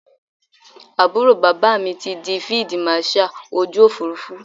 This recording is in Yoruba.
Àbúrò bàbá mi ti di Fídíì Màṣaà ojú Òfurufú.